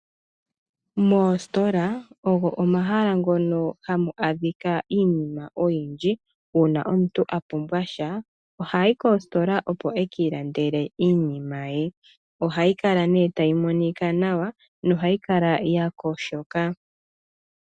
Moositola ogo omahala ngono hamu adhika iinima oyindji. Uuna omuntu a pumbwa sha ohayi koositola opo e ki ilandele iinima ye. Ohayi kala nee tayi monika nawa nohayi kala ya yogoka.